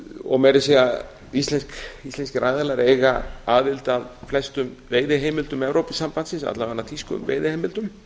og meira að segja íslenskir aðilar eiga aðild að flestum veiðiheimildum evrópusambandsins alla vega þýskum veiðiheimildum